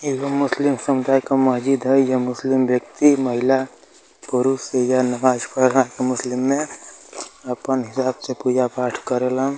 मुस्लिम समुदाय का मस्जिद है। यह मुस्लिम व्यक्ति महिला पुरुष या नमाज पढ़ रहा मुस्लिम में। आपन हिसाब से पूजा-पाठ करेलन।